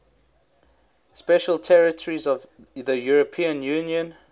special territories of the european union